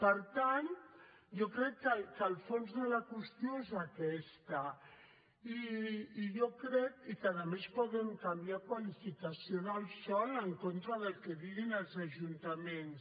per tant jo crec que el fons de la qüestió és aquest i que a més poden canviar la qualificació del sòl en contra del que diguin els ajuntaments